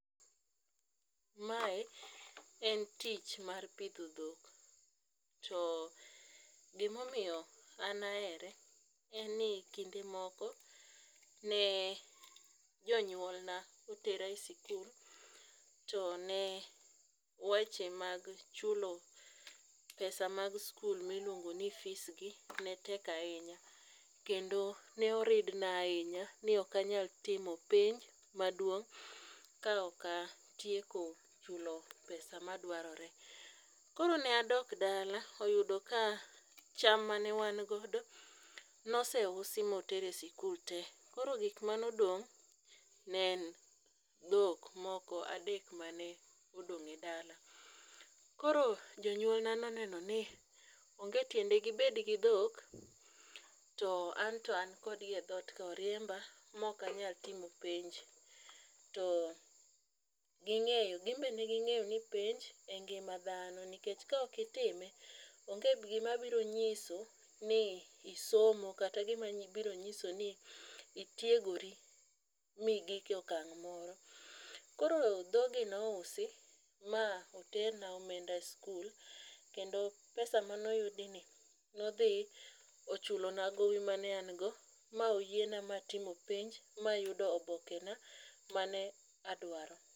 Mae en tich mar pidho dhok to gimomiyo an aere en ni kinde moko ne jonyuolna otera e sikul to ne weche mag chulo pesa mag skul miluongo ni fees gi ne tek ahinya, kendo ne oridna ahinya ni okanyal timo penj maduong' kaok atieko chulo pesa madwarore. Koro ne adok dala oyudo ka cham mane wangodo noseusi moter e sikul te koro gikmane odong' ne en dhok moko adek mane odong' e dala. Koro jonyuolna noneno ni onge tiende gibedgi dhok to anto ankodgi e dhot oriemba mokanyal timo penj to ginbe ne ging'eyo ni penj e ngima dhano nikech kaok itime onge gimabiro nyiso ni isomo kata gimabiro nyiso ni itiegori migik e okang' moro. Koro dhogi ne ousi ma oterna omenda e skul kendo pesa manoyudi ni nodhi ochulona gowi ma ne an go moyiena atimo penj mayudo obokena mane adwaro.